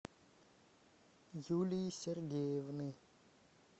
юлии сергеевны